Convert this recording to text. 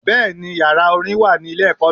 Bẹ́ẹ̀ni yàrá Orin wà ní ilé èkó mi